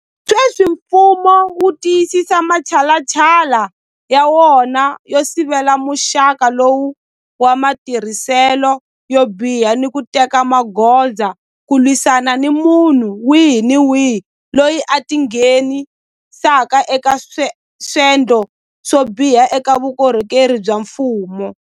Sweswi mfumo wu tiyisisa matshalatshala ya wona yo sivela muxaka lowu wa matirhiselo yo biha ni ku teka magoza ku lwisana ni munhu wihi ni wihi loyi a tingheni saka eka swendlo swo biha eka vukorhokeri bya mfumo.